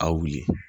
A wuli